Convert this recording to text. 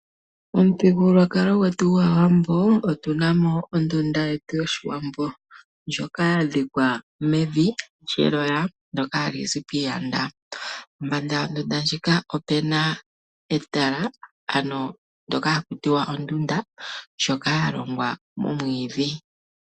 Omuthigululwakalo gwetu gwAawambo otuna mo ondunda yetu yoshiwambo. Ndjoka ya dhikwa mevi lyeloya ndoka hali zi piiyanda. Pombanda yondunda ndjoka opuna etala ano ndoka haku tiwa ondunda ndjoka ya longwa momwiidhi.